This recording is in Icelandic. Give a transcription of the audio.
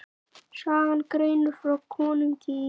Sagan greinir frá konungi í